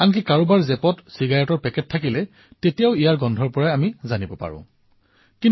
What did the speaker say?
তেওঁলোকৰ পকেটত চিগাৰেটৰ পেকেট থাকিলেও গোন্ধৰ জৰিয়তে গম পোৱা যায়